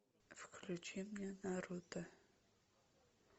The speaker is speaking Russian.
включи мне наруто